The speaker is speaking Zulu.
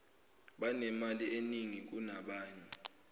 banemali eningi kunabanye